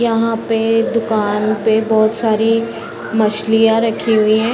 यहाँ पे दुकान पे बहोत सारी मछलिया रखी हुई हैं।